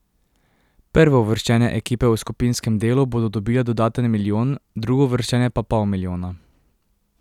Prvouvrščene ekipe v skupinskem delu bodo dobile dodaten milijon, drugouvrščene pa pol milijona.